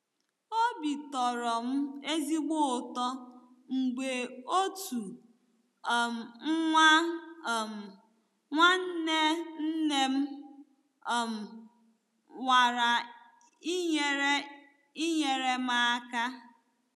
Obi tọrọ m ezigbo ụtọ mgbe otu um nwa um nwanne nne m um nwara inyere inyere m aka.